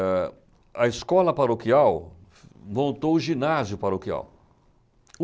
Ãh, a escola paroquial montou o ginásio paroquial.